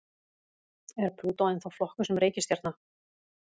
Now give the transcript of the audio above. Er Plútó ennþá flokkuð sem reikistjarna?